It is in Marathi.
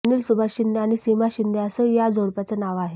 अनिल सुभाष शिंदे आणि सीमा शिंदे असं या जोडप्याचं नाव आहे